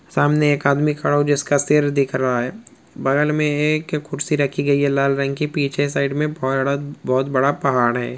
सामने एक आदमी खड़ा हुआ है जिसका सर दिख रहा है बगल में एक कुर्सी रखी गयी है लाल रंग की पीछे की साइड में बहुत बड़ा पहाड़ है।